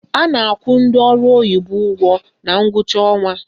A na-akwụ ndị ọrụ oyibo ụgwọ na ngwụcha ọnwa